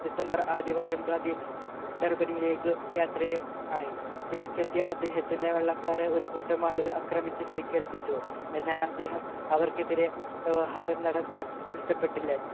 December ആദ്യ വാരം ഗാന്ധി ഡർബനിയിലേക്ക് യാത്ര ആയി തിരിച്ചെത്തിയ അദ്ദേഹത്തിനെ വെള്ളക്കാർ ഒരു കൂട്ടം ആള് അക്രമിച്ചു പരിക്കേൽപ്പിച്ചു എന്നാൽ അദ്ദേഹം അവർക്കെതിരെ വ്യവഹാരം നടത്താൻ ഇഷ്ടപ്പെട്ടില്ല